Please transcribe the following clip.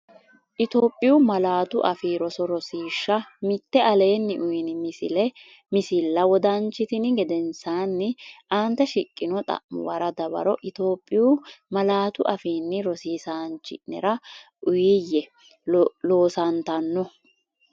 Itophiyu Malaatu Afii Roso Rosiishsha Mite Aleenni uyini misilla wodanchitini gedensaanni aante shiqqino xa’mu wara dawaro Itophiyu malaatu afiinni rosiisaanchi’nera uuyye, loosantanno?